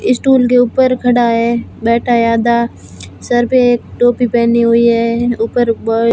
Stool के ऊपर खड़ा है बैठा है आधा। सर पे टोपी पहने हुई है। ऊपर बर्ड --